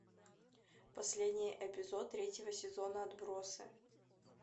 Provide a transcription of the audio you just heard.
последний эпизод третьего сезона отбросы